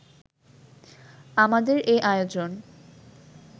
আমাদের এ আয়োজন